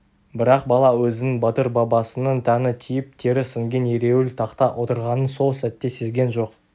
бірақ бала өзінің батыр бабасының тәні тиіп тері сіңген ереуіл тақта отырғанын сол сәт сезген жоқ